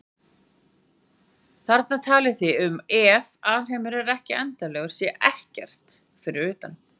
Þarna talið þið um að EF alheimurinn er endanlegur þá sé EKKERT fyrir utan.